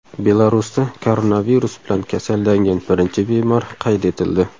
Belarusda koronavirus bilan kasallangan birinchi bemor qayd etildi.